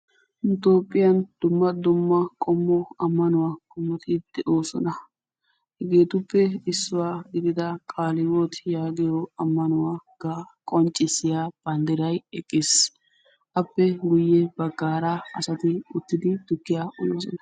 Nu Itoophphiyan dumma dumma qomo ammanuwa qommot de'oosona. Hegetuppe isuwa gidida qalehiwoot yagiyo ammanuwa qonccissiya banddiray eqqiis. Appe guye baggaara asati uttidi tukkiya uyoosona.